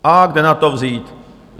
A kde na to vzít?